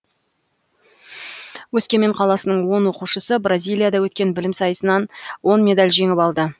өскемен қаласының он оқушысы бразилияда өткен білім сайысынан он медаль жеңіп алды